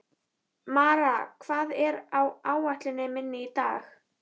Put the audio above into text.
Mara, hvað er á áætluninni minni í dag?